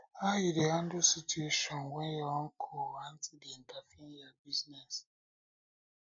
how you dey handle situation when your uncle or auntie dey interfere in your business